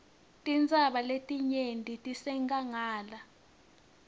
tintsaba letinengi tisenkhangala